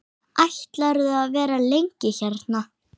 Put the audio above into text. Ætlarðu að vera lengi hérna?